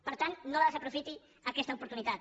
per tant no la desaprofiti aquesta oportunitat